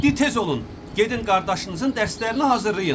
Deyin tez olun, gedin qardaşınızın dərslərini hazırlayın.